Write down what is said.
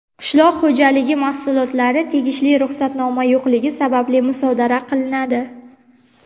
qishloq xo‘jaligi mahsulotlari tegishli ruxsatnoma yo‘qligi sababli musodara qilinadi.